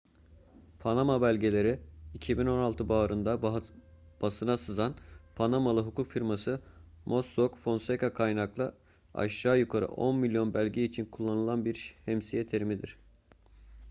panama belgeleri 2016 baharında basına sızan panamalı hukuk firması mossock fonseca'dan kaynaklı aşağı yukarı on milyon belge için kullanılan şemsiye bir terimdir